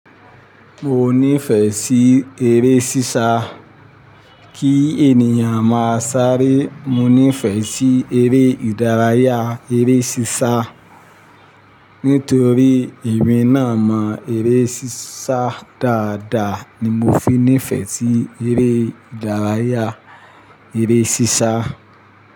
Mi o nífẹ̀ẹ́ sí eré sísá. Kí ènìyàn máa sáré, mo nífẹ̀ẹ́ sí eré ìdárayá, eré sísá. Nítorí emi náà mọ eré sísá dáadáa ni mo fi nífẹ̀ẹ́ sí eré ìdárayá, eré sísá.